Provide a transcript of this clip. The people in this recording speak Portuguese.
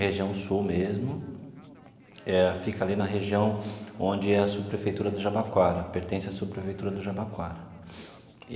região sul mesmo, eh fica ali na região onde é a subprefeitura do Jabaquara, pertence à subprefeitura do Jabaquara.